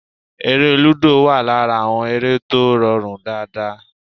Eré lúdò wà lára àwọn eré tó rọrùn dáadáa